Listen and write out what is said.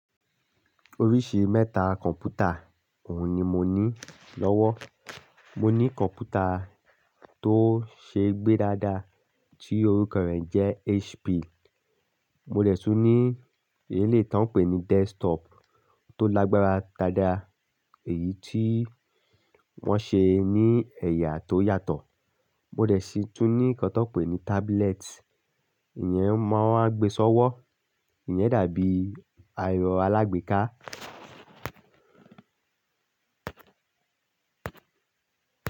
Oríṣi mẹ́ta kọ̀mpútà òun ni mo ní lọ́wọ́. Mo ní kọ̀mpútà tó ṣeé gbé dáadáa tí orúkọ rẹ̀ jẹ́ HP. Mo dẹ̀ tún ní èyí tí wọ́n ń pè ní desktop tó lágbára dáadáa èyí tí wọ́n ṣe ní ẹ̀yà tó yàtọ̀. Mo dẹ̀ sì tún ní kí wọ́n pè ní tábúlẹ́ẹ̀tì, ìyẹn máa ń gbé sọ́wọ́, ìyẹn dàbí ẹẹrọ̀ alágbèéká.